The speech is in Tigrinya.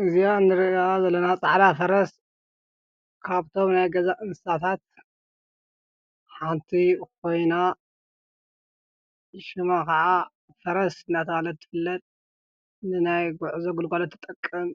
እዛ ንሪኣ ዘለና ፃዕዳ ፈረስ ካብቶም ናይ ገዛ እንስሳታት ሓንቲ ኮይና ሽማ ከዓ ፈረስ እናተባህለት ትፍለጥ ንናይ ጉዕዞ ግልጋሎት ትጠቅም